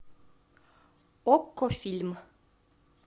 окко фильм